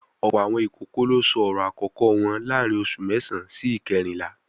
Ọ̀pọ̀ àwọn ìkókó ló sọ ọ̀rọ̀ àkọ́kọ́ wọn láàárín oṣù mẹ́sàán sí ìkérìnlá